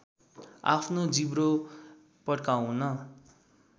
आफ्नो जिब्रो पड्काउन